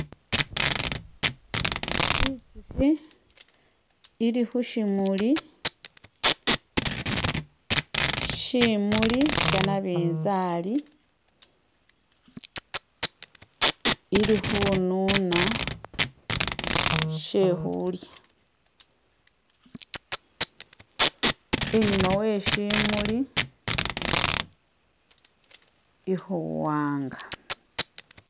Itsukhi ili khu shimuli, shimuli sha nabinzali ili khununa she khulya, inyuma we shimuli ikhu wanga.